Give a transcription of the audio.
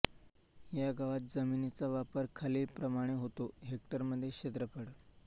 या गावात जमिनीचा वापर खालीलप्रमाणे होतो हेक्टरमध्ये क्षेत्रफळ